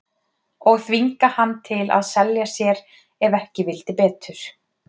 Og þvinga hann til að selja sér ef ekki vildi betur.